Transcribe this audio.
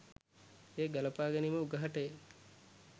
එය ගලපා ගැනීම උගහට ය.